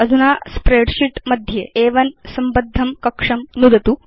अधुना स्प्रेडशीट् मध्ये अ1 संबद्धं कक्षं नुदतु